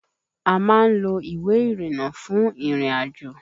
A máa ń lo ìwé ìrìnnà fún ìrìn-àjò